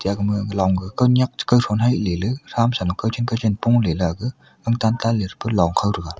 ajang ma long ka nyiak che kawtho hai ley ley tham sa lo kaw chik kaw lo pongle la aga gang tan tanle pe longkhow thega.